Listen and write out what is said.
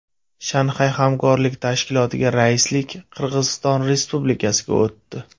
Shanxay hamkorlik tashkilotiga raislik Qirg‘iziston Respublikasiga o‘tdi.